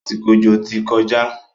Àsìkò òjò ti kọjá.